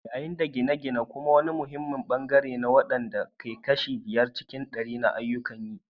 Yayin da gine-gine kuma wani muhimmin bangare ne wanda ya kai kashi biyar cikin ɗari na ayyukan yi.